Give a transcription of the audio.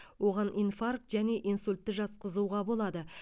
оған инфаркт және инсультті жатқызуға болады